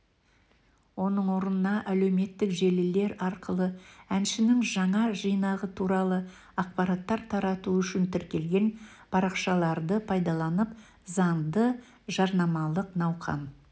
оның орнына әлеуметтік желілер арқылы әншінің жаңа жинағы туралы ақпараттар тарату үшін тіркелген парақшаларды пайдаланып заңды жарнамалық науқан